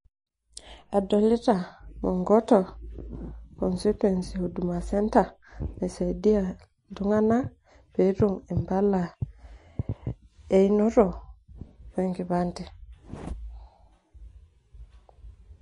adolita inkoto constituency, huduma center, naisidia iltung'anak, pee etum impala einoto we nkipande.